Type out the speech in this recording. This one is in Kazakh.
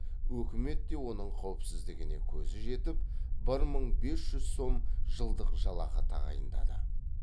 өкімет те оның қауіпсіздігіне көзі жетіп бір мың бес жүз сом жылдық жалақы тағайындады